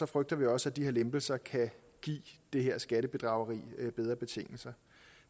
frygter vi også at de her lempelser kan give det her skattebedrageri bedre betingelser